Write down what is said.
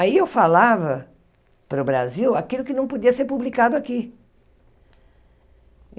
Aí eu falava para o Brasil aquilo que não podia ser publicado aqui.